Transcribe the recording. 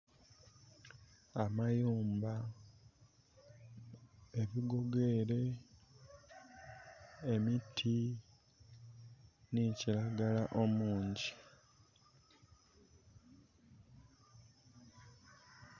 Amayumba, ebigogo ere, emiti nhi kilagala omungi.